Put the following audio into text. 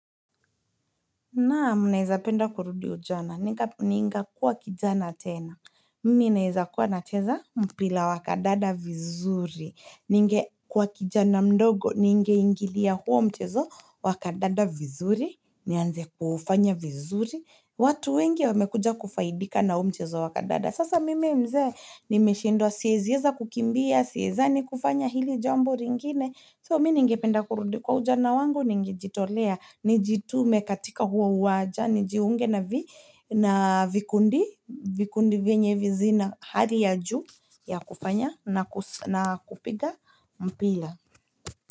Naam naeza penda kurudi ujana. Ninga kuwa kijana tena. Mimi naeza kuwa na cheza mpila wakadada vizuri. Ninge kuwa kijana mdogo. Ninge ingilia huo mchezo wakadada vizuri. Nianze kuufanya vizuri. Watu wengi wamekuja kufaidika na huo mchezo wakadada. Sasa mimi mzee. Nimeshendwa siezieza kukimbia. Sieza ni kufanya hili jambo ringine. So mini ngependa kurudi kwa ujana wangu ningejitolea, nijitume katika huo uwaja, nijiunge na vikundi, vikundi venye vizina hali ya juu ya kufanya na kupiga mpila.